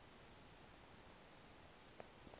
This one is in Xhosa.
kuthiwe ke umzi